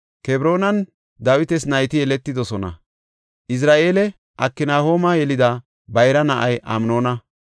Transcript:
Kebroonan Dawitas nayti yeletidosona; Izira7eele Aknahooma yelida bayra na7ay Amnoona;